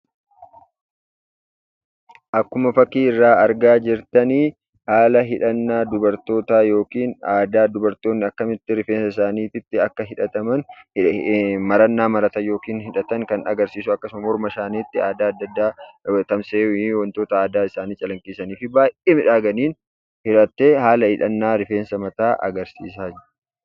Akkuma fakkii irraa argaa jirtan haala hidhannaa dubartootaa yookaan aadaa dubartoonni akkamitti rifeensa isaaniitti akka hidhatan, marannaa maratan yookaan hidhatamu kan agarsiisu akkasumas morma isaaniitti aadaa adda addaa wantoota aadaa isaanii calaqqisiisanfi baay'ee miidhaganiin hidhattee haala hidhannaa rifeensa mataa agarsiisaa jirti.